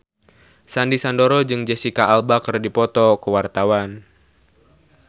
Sandy Sandoro jeung Jesicca Alba keur dipoto ku wartawan